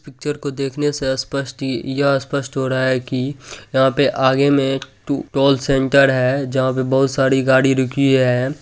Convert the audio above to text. Picture को देखने से स्पष्ट इ यह स्पष्ट हो रहा है कि यहाँ पे आगे में एक टोल सेंटर है जहाँ पे बहुत सारी गाड़ी रुकी है।